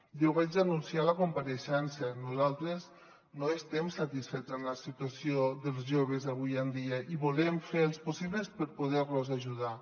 ja ho vaig anunciar en la compareixença nosaltres no estem satisfets amb la si·tuació dels joves avui en dia i volem fer els possibles per poder·los ajudar